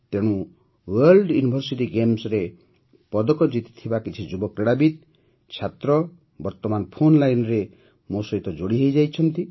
ତେଣୁ world university ଗେମ୍ସରେ ପଦକ ଜିତିଥିବା କିଛି ଯୁବ କ୍ରୀଡ଼ାବିତ୍ ଛାତ୍ର ବର୍ତମାନ ଫୋନ୍ ଲାଇନ୍ରେ ମୋ ସହିତ ଯୋଡ଼ି ହୋଇଛନ୍ତି